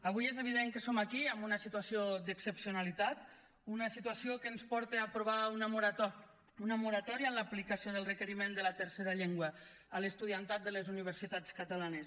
avui és evident que som aquí amb una situació d’excepcionalitat una situació que ens porta a aprovar una moratòria en l’aplicació del requeriment de la tercera llengua a l’estudiantat de les universitats catalanes